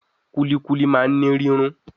Kulikuli ma wa ni rirun